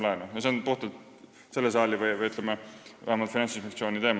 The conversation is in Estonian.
Selle asja lahendamine on puhtalt selle saali võimuses või vähemalt Finantsinspektsiooni teema.